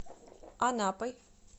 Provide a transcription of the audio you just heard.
анапой